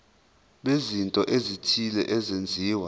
bezinto ezithile ezenziwa